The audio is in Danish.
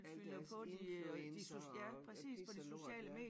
Alle deres influencere og ja pis og lort ja